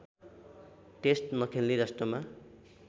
test नखेल्ने राष्ट्रमा